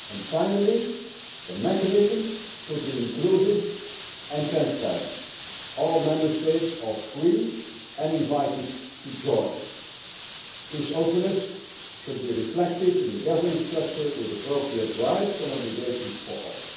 Finally, the mechanism should be inclusive and transparent all Member States are free and invited to join. This openness should be reflected in the governance structure, with appropriate rights and obligations for all.